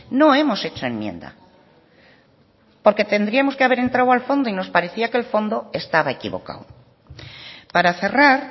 no hemos hecho enmienda porque tendríamos que haber entrado al fondo y nos parecía que el fondo estaba equivocado para cerrar